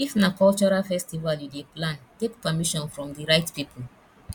if na cultural festival you dey plan take permission from di right pipo